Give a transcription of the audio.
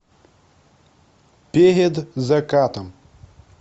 перед закатом